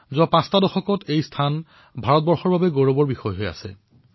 বিগত পাঁচ দশকধৰি এই স্থান ভাৰতৰ গৌৰৱময় স্থান হিচাপে বিবেচিত হৈ আহিছে